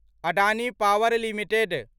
Adani power limited